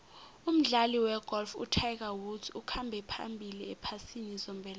umdlali wegolf utiger woods ukhamba phambili ephasini zombelele